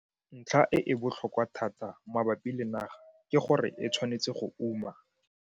Ntlha e e bolhokwa thata mabapi le naga ke gore e tshwanetse go uma.